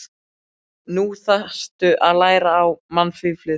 Nú þarftu að læra á mannlífið.